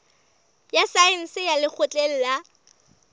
ya saense ya lekgotleng la